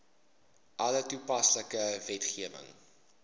alle toepaslike wetgewing